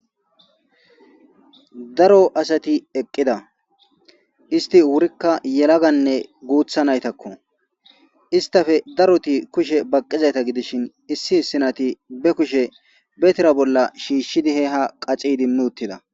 Daro asati eqqida isti wurikka yelaganne guutha naytakko istafe daroti kushe baqqizayta gidishin issi issinati be kushe be tira bolla shiishshidi he ha qaci dimmi uttida.